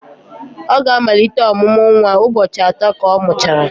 ọ ga-amalite ọmụmụ nwa ụbọchị atọ ka ọ mụchara